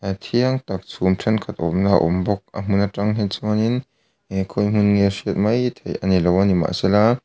thiang tak chhum thenkhat awmna awm bawk a hmun atang hi chuanin e khawi hmun nge a hriat mai loh ani mahsela--